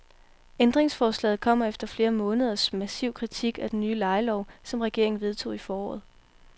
Ændringsforslaget kommer efter flere måneders massiv kritik af den nye lejelov, som regeringen vedtog i foråret.